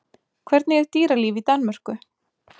Hvernig er dýralíf í Danmörku?